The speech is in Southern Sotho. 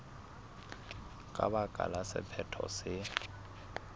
ka baka la sephetho se